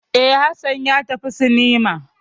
E, Hassan ya tafi cinema.